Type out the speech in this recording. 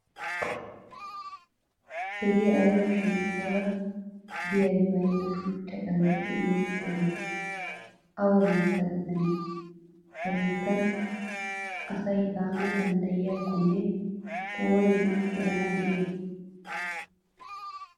Hgee ayiba shemppora diyaabi bayinna shuchcha xallayi diyoo sohayi awa biitta gidanee? Ha biittan asi daana danddayiyaakko ooni erana diyayi?